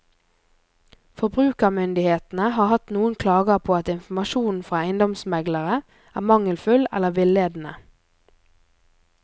Forbrukermyndighetene har hatt noen klager på at informasjonen fra eiendomsmeglere er mangelfull eller villedende.